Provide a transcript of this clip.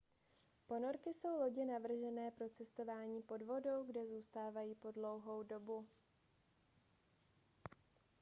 ponorky jsou lodě navržené pro cestování pod vodou kde zůstávají po dlouhou dobu